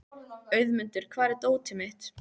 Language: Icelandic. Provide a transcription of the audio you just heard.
Auðmundur, hvar er dótið mitt?